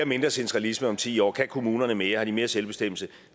mindre centralisme om ti år kan kommunerne mere har de mere selvbestemmelse